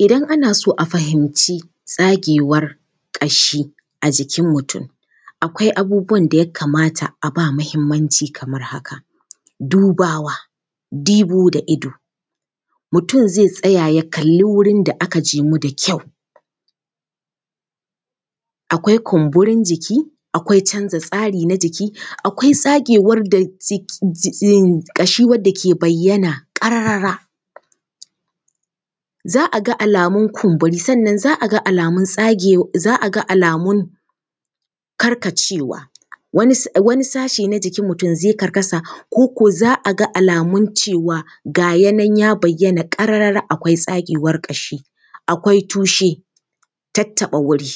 Idan ana so a fahimci tsagewar ƙashi a jikin mutum, akwai abubuwan da ya kamata a ba muhimmanci kamar haka: dubawa, dibo da ido, mutum zai tsaya ya kalli wurin da aka jimu da kyau. Akwai kumburin jiki, akwai canza tsari na jiki, akwai tsagewar da… ƙashi wadda ke bayyana ƙarara. Za a ga alamun kumburi sannan za a ga alamun tsagewa, za a ga alamun karkacewa. Wani sashi na mutum zai karkasa ko ko za a ga alamun cewa ga ya nan ya bayyana ƙarara akwai tsagewar ƙashi. Akwai tushe, tattaɓa wuri,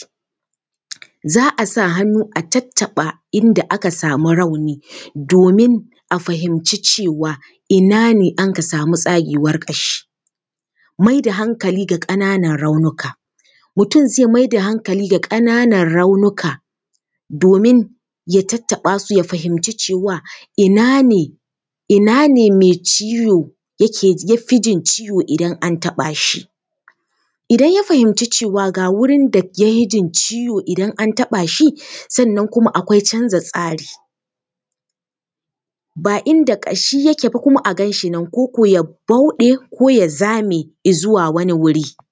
za a sa hannu a tattaɓa inda aka samu rauni domin a fahimci cewa ina ne anka samu tsagewar ƙashi. Mai da hankali ga ƙananan raunuka. Mutum zai mai da hankali ga ƙananan raunuka domin ya tattaɓa su ya fahimci cewa ina ne, ina ne mai ciwo ya ke, ya fi jin ciwo idan an taɓa shi? Idan ya fahimci cewa ga wurin da ya fi jin ciwo idan an taɓa shi, sannan kuma akwai canza tsari, ba inda ƙashi yake ba kuma a gan shi nan ko ko ya bauɗe ko ya zame i zuwa wani wuri.